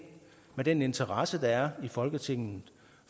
med den interesse der er i folketinget